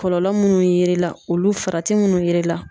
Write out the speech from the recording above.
Kɔlɔlɔ munnu ye l'i la, olu farati munnu ye l'i la.